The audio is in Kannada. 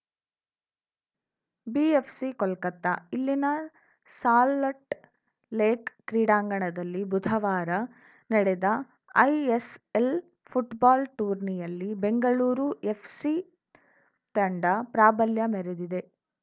ಬಿಎಫ್‌ಸಿ ಕೋಲ್ಕತಾ ಇಲ್ಲಿನ ಸಾಲಟ್ ಲೇಕ್‌ ಕ್ರೀಡಾಂಗಣದಲ್ಲಿ ಬುಧವಾರ ನಡೆದ ಐಎಸ್‌ಎಲ್‌ ಫುಟ್ಬಾಲ್‌ ಟೂರ್ನಿಯಲ್ಲಿ ಬೆಂಗಳೂರು ಎಫ್‌ಸಿ ತಂಡ ಪ್ರಾಬಲ್ಯ ಮೆರೆದಿದೆ